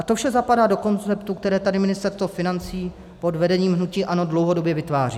A to vše zapadá do koncertu, které tady Ministerstvo financí pod vedením hnutí ANO dlouhodobě vytváří.